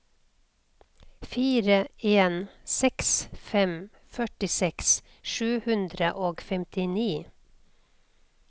fire en seks fem førtiseks sju hundre og femtini